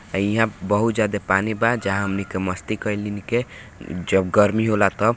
अय्या बहोत ज्यादा पानी बा हमनी के बहुत मस्ती केनी के जब गर्मी होयला तब--